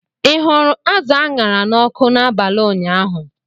Ị hụrụ azụ a ṅara n'ọkụ n'abalị ụnyaahụ?